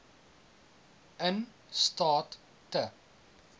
in staat te